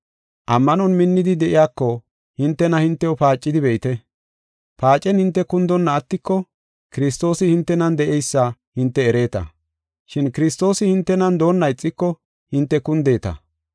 Ammanon minnidi de7iyako hintena hintew paacidi be7ite. Paacen hinte kundonna attiko, Kiristoosi hintenan de7eysa hinte ereeta. Shin Kiristoosi hintenan doonna ixiko hinte kundeeta.